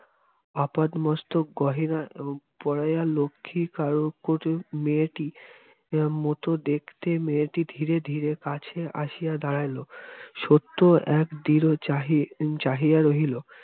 আপাদমস্তক গহনা পরাইয়া লক্ষ্মীঠাকরুন মেয়েটি মত দেখতে মেয়েটি ধীরে ধীরে কাছে আসিয়া দাঁড়াইল সত্য এক দৃঢ় চাহি চাহিয়া রহিল